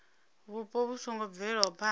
vhupo vhu songo bvelaho phana